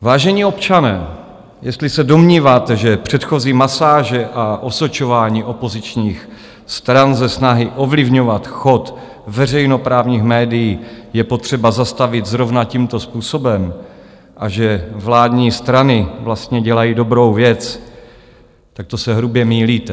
Vážení občané, jestli se domníváte, že předchozí masáže a osočování opozičních stran ze snahy ovlivňovat chod veřejnoprávních médií je potřeba zastavit zrovna tímto způsobem a že vládní strany vlastně dělají dobrou věc, tak to se hrubě mýlíte.